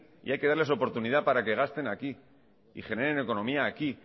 y hay que darles oportunidad para que gasten aquí y generen economía aquí